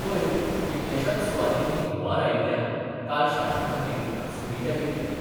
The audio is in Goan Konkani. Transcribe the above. पयर कितल्याशाच सुवातांनी हुंवार आयिल्ल्यान काल शाळां खातीर सुटी जाहीर केल्ली.